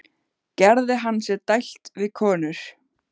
Gerði hann sér dælt við konur?